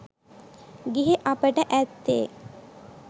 ගිහි අපට ඇත්තේ